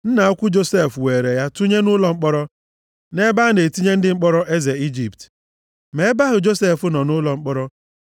Nna ukwu Josef weere ya tụnye nʼụlọ mkpọrọ, nʼebe a na-etinye ndị mkpọrọ eze Ijipt. Ma ebe ahụ Josef nọ nʼụlọ mkpọrọ,